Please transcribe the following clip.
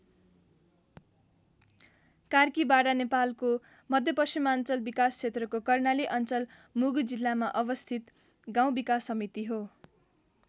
कार्कीबाडा नेपालको मध्यपश्चिमाञ्चल विकास क्षेत्रको कर्णाली अञ्चल मुगु जिल्लामा अवस्थित गाउँ विकास समिति हो।